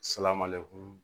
Salamaleku